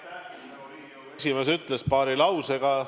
Nagu Riigikogu esimees ütles, paari lausega.